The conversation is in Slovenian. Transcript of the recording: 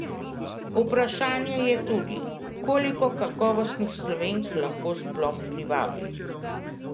Vprašanje je tudi, koliko kakovostnih Slovenk lahko sploh privabi.